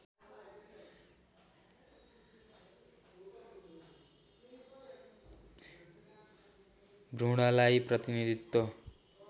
भ्रूणलाई प्रतिनीधित्व